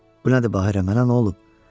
Bu nədir Bahira, mənə nə olub?